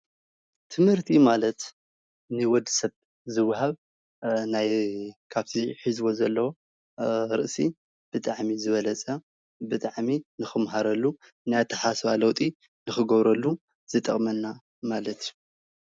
ትምህርቲ ማለት ንወድሰብ ዝወሃብ ናይ ካፍቲ ሒዝዎ ዘሎ ርእሲ ብጣዕሚ ዝበለፀ ብጣዕሚ ንኽመሃረሉ ናይ ኣተሓሳስባ ለውጢ ንኽገብረሉ ዝጠቅመና ማለት እዩ።